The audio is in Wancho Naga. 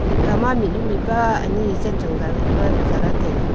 tikham mihnu mihpa ani zah lah taiga.